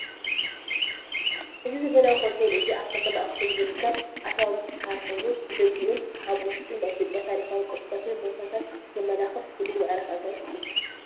እዚ ዘበናዊ ሆቴል እዚ ኣብ ከተማ ኣክሱም ዝርከብ ኣትራኖስ ዝባሃል ኮይኑ ብደጊኡን ኣብ ውሽጡን ናይ ኢ/ያ ታሪካዊ ቅርስታትን ቦታታት ዘመላኽት ፍሉይ መዕረፊ ኣጋይሽ እዩ፡፡